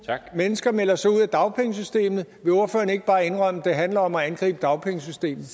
mennesker melder sig ud af dagpengesystemet vil ordføreren ikke bare indrømme at det handler om at angribe dagpengesystemet